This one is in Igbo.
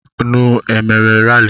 Nnu e mere rali?